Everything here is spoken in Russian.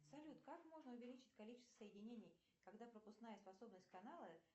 салют как можно увеличить количество соединений когда пропускная способность канала